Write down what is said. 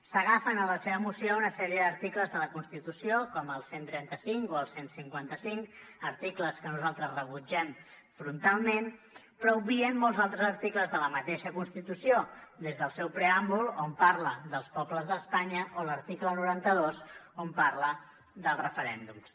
s’agafen en la seva moció a una sèrie d’articles de la constitució com el cent i trenta cinc o el cent i cinquanta cinc articles que nosaltres rebutgem frontalment però obvien molts altres articles de la mateixa constitució des del seu preàmbul on parla dels pobles d’espanya o l’article noranta dos on parla dels referèndums